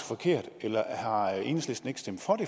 forkert eller har enhedslisten ikke stemt